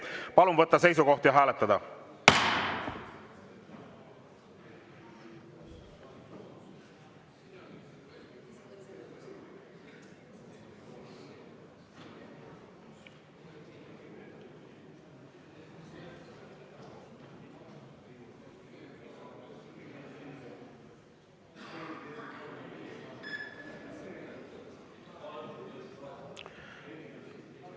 Palun võtta seisukoht ja hääletada!